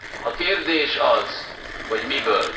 A kérdés az, hogy miből.